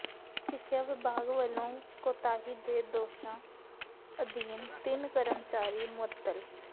ਸਿੱਖਿਆ ਵਿਭਾਗ ਵੱਲੋਂ ਕੋਤਾਹੀ ਦੇ ਦੋਸ਼ਾਂ ਅਧੀਨ ਤਿੰਨ ਕਰਮਚਾਰੀ ਮੁਅੱਤਲ